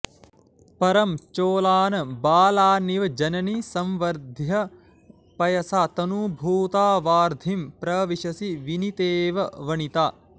परं चोलान् बालानिव जननि संवर्ध्य पयसा तनूभूता वार्धिं प्रविशसि विनीतेव वनिता